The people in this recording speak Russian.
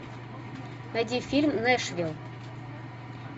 найди фильм нэшвилл